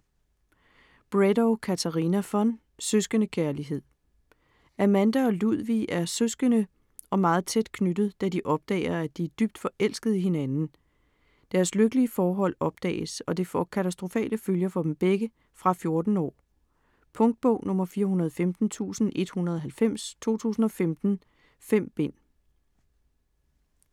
Bredow, Katarina von: Søskendekærlighed Amanda og Ludvig er søskende og meget tæt knyttet, da de opdager, at de er dybt forelskede i hinanden. Deres lykkelige forhold opdages, og det får katastrofale følger for dem begge. Fra 14 år. Punktbog 415190 2015. 5 bind.